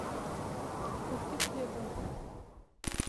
купи хлеба